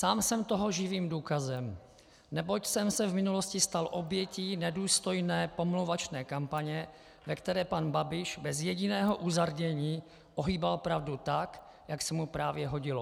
Sám jsem toho živým důkazem, neboť jsem se v minulosti stal obětí nedůstojné pomlouvačné kampaně, ve které pan Babiš bez jediného uzardění ohýbal pravdu tak, jak se mu právě hodilo.